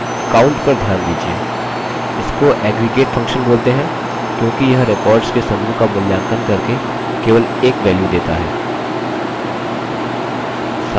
इसको aggregate function बोलते हैं क्योंकि यह records के समूह का मूल्यांकन करके केवल एक value set है